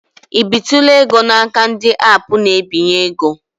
I bitụla ego n'aka ndị aapụ na-ebinye ego?